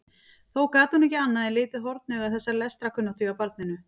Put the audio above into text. Þó gat hún ekki annað en litið hornauga þessa lestrarkunnáttu hjá barninu.